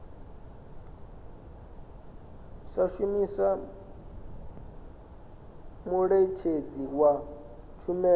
sa shumisa muṋetshedzi wa tshumelo